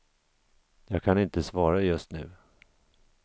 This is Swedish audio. Jag kan inte svara just nu.